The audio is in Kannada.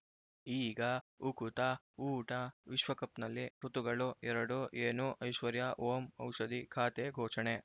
ಈಗ ಉಕುತ ಊಟ ವಿಶ್ವಕಪ್‌ನಲ್ಲಿ ಋತುಗಳು ಎರಡು ಏನು ಐಶ್ವರ್ಯಾ ಓಂ ಔಷಧಿ ಖಾತೆ ಘೋಷಣೆ